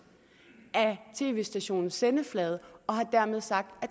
af tv stationens sendeflade og har dermed sagt at